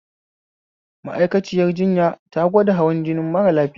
Ma'aikaciyar jinya da gwada hawan jini mara lafiya